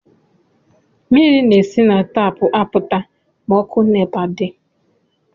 Mmiri na-esi na tapụ apụta ma ọkụ nepa di